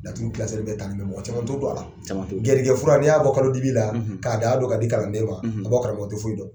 Laturu mɔgɔ caman t'o dɔn a la garijɛgɛfuran n'i y'a bɔ kalodibi la k'a daa don ka di kalanden ma a bɔ karamɔgɔ tɛ foyi dɔn